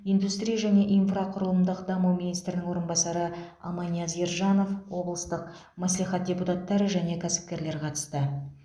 индустрия және инфрақұрылымдық даму министрінің орынбасары аманияз ержанов облыстық мәслихат депутаттары және кәсіпкерлер қатысты